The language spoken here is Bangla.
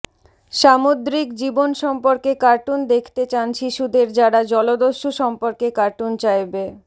সামুদ্রিক জীবন সম্পর্কে কার্টুন দেখতে চান শিশুদের যারা জলদস্যু সম্পর্কে কার্টুন চাইবে